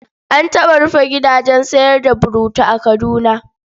An taɓa rufe gidajen sayar da burutu a Kaduna.